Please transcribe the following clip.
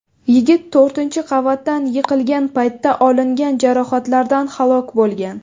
Yigit to‘rtinchi qavatdan yiqilgan paytda olingan jarohatlardan halok bo‘lgan.